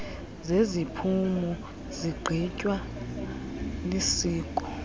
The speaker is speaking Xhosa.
zeziphumo zigqitywa lisiko